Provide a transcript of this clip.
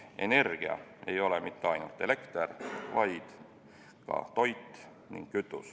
Energia ei ole mitte ainult elekter, vaid ka toit ja kütus.